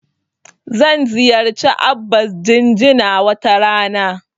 Zan ziyarci Abba Jinjina wata rana.